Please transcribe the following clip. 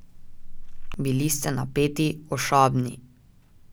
Bili ste napeti, ošabni ...